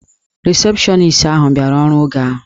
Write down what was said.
Risepshọnis ahụ bịara ọrụ oge ahụ.